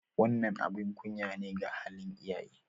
Wannan abin kunya ne ga halin iyaye.